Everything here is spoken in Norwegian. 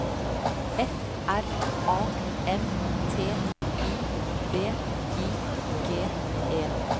F R A M T I D I G E